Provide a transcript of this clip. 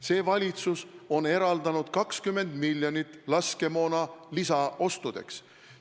See valitsus on eraldanud 20 miljonit laskemoona lisaostudeks.